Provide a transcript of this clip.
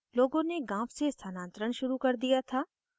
लोगों ने गाँव से स्थानांतरण शुरू कर दिया था